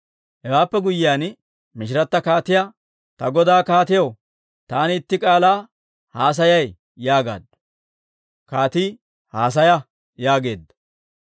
Hewaappe guyyiyaan, mishirata kaatiyaa, «Ta godaa kaatiyaw taani itti k'aalaa haasayay» yaagaaddu. Kaatii, «Haasaya» yaageedda.